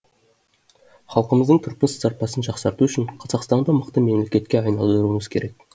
халқымыздың тұрмыс сапасын жақсарту үшін қазақстанды мықты мемлекетке айналдыруымыз керек